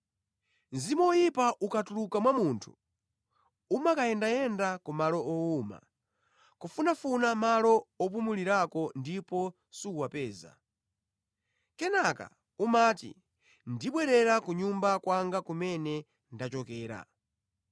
“Mzimu woyipa ukatuluka mwa munthu, umakayendayenda ku malo owuma, kufunafuna malo opumulirako ndipo suwapeza. Kenaka umati, ‘Ndibwerera ku nyumba kwanga kumene ndachokera.’